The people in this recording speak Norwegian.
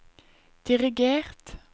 dirigert